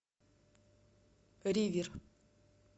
ривер